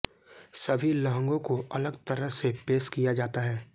सभी लहंगों को अलग तरह से पेश किया जाता है